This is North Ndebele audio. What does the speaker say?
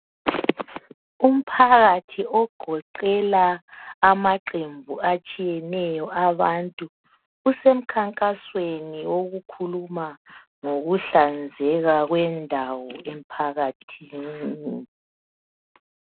Umphakathi ogoqela amaqembu atshiyeneyo abantu usemkhankasweni wokukhuluma ngokuhlanzeka kwendawo emphakathini.